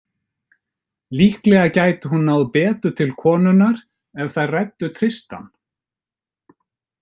Líklega gæti hún náð betur til konunnar ef þær ræddu Tristan.